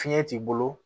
Fiɲɛ t'i bolo